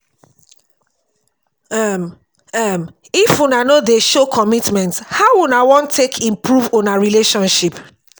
um um if una no dey show commitment how una wan take improve una relationship?